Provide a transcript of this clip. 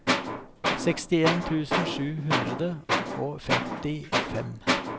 sekstien tusen sju hundre og femtifem